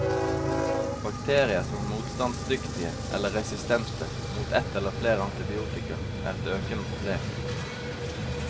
Bakterier som er motstandsdyktige, eller resistente, mot et eller flere antibiotika, er et økende problem.